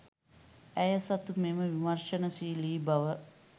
ඇය සතු මෙම විමර්ශනශීලි බව